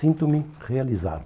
Sinto-me realizado.